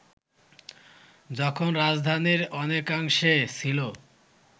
যখন রাজধানীর অনেকাংশে ছিল